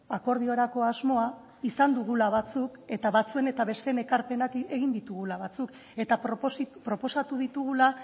akordiorako asmoa izan dugula batzuk eta batzuen eta besteen ekarpenak egin ditugula batzuk eta proposatu ditugula